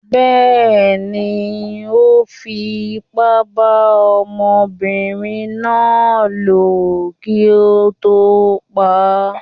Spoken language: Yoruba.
Bẹ́ẹ̀ni, Ó fi ipá bá ọmọbinrin náà lò kí ó tó pa á.